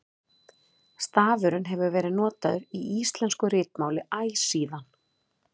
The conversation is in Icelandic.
stafurinn hefur verið notaður í íslensku ritmáli æ síðan